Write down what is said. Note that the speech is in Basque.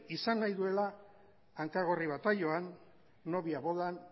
izan nahi duela hankagorri bataioan nobia bodan